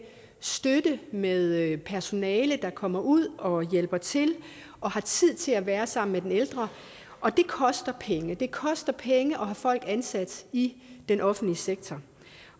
støtte med personale der kommer ud og hjælper til og har tid til at være sammen med den ældre og det koster penge det koster penge at have folk ansat i den offentlige sektor